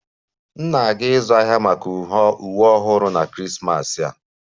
M na-aga ịzụ ahịa maka uwe ọhụrụ na Krismas a